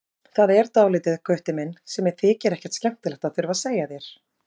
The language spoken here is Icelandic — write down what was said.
Það er dálítið, Gutti minn, sem mér þykir ekkert skemmtilegt að þurfa að segja þér.